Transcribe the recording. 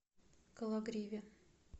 кологриве